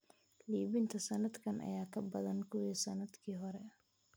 Iibinta sanadkan ayaa ka badan kuwii sanadkii hore.